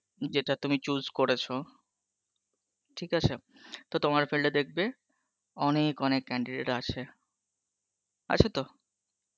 যেটা তুমি choose করেছো ঠিক আছে, তো তোমার field এ দেখবে অনেক অনেক candidate আছে. আছে তো?